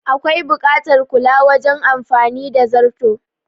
Akwai buƙatar kula wajen amfani da zarto